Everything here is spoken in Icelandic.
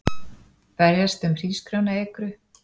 Berjast um hrísgrjónaekru